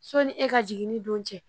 Sɔnni e ka jigin ni don cɛ